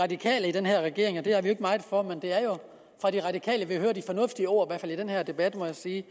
radikale i den her regering og det er vi jo ikke meget for men det er jo af de radikale vi hører de fornuftige ord i hvert fald i den her debat må jeg sige